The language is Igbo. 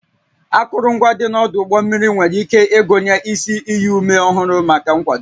Akụrụngwa dị n'ọdụ ụgbọ mmiri nwere ike ịgụnye isi iyi ume ọhụrụ maka nkwado